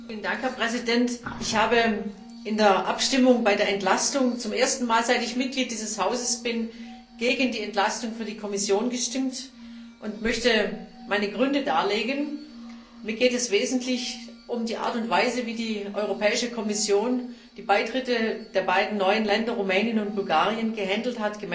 Herr Präsident! Ich habe in der Abstimmung über die Entlastung zum ersten Mal, seit ich Mitglied des Hauses bin, gegen die Entlastung für die Kommission gestimmt und möchte meine Gründe darlegen Mir geht es im Wesentlichen um die Art und Weise, wie die Europäische Kommission die Beitritte der beiden neuen Länder Rumänien und Bulgarien gehandhabt hat.